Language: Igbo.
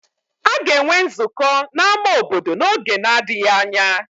A ga-enwe nzukọ na ama obodo n'oge na-adịghị anya.